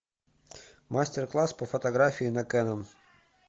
мастер класс по фотографии на кэнон